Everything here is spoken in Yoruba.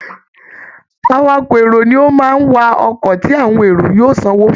Awakọ̀ èrò ni ó máa ń wa ọkọ̀ tí àwọn èrò yóò sanwó fún